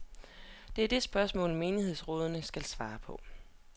Det er det spørgsmål, menighedsrådene skal svare på.